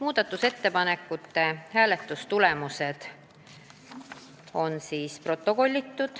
Hääletustulemused on protokollitud.